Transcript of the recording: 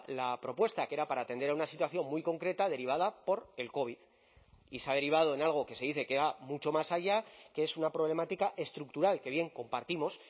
la propuesta que era para atender a una situación muy concreta derivada por el covid y se ha derivado en algo que se dice que va mucho más allá que es una problemática estructural que bien compartimos